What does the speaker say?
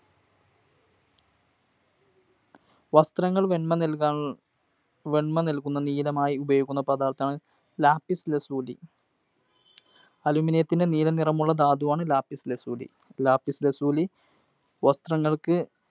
വസ്ത്രങ്ങൾക്ക് വെൺമ നൽകാൻ, വെൺമ നൽകുന്ന നീലമായി ഉപയോഗിക്കുന്ന പദാർത്ഥമാണ് Lapiz Lazuli. Aluminum ത്തിൻറെ നീല നിറമുള്ള ധാതുവാണ്‌ Lapiz Lazuli. Lapiz Lazuli